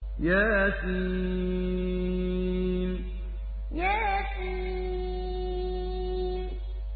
يس يس